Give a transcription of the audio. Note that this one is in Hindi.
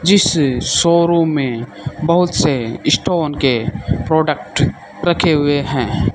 जिस शोरूम में बोहोत से स्टोन के प्रोडक्ट रखे हुए हैं।